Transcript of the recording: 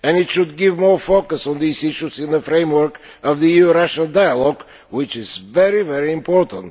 It should put more focus on these issues in the framework of the EU Russia dialogue, which is very important.